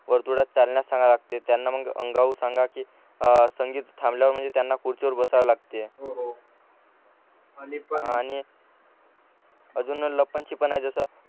वर्तुळात चालण्यात सांगा लागते त्यांना मग अंगाऊन सांगा कि संगीत थांबल्यावर म्हणजे त्यांना खुर्चीवर बसाव लागते आणि पण अजून लप्पण छुप्पण आहे जस